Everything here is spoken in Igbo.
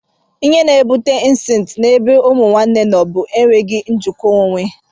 Ihe na-ebute incesti na ebe Ụmụnne nọ bụ enweghị njikwa onwe.